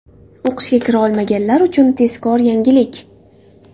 O‘qishga kira olmaganlar uchun tezkor yangilik!.